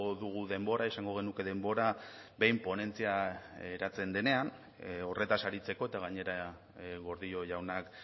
dugu denbora izango genuke denbora behin ponentzia eratzen denean horretaz aritzeko eta gainera gordillo jaunak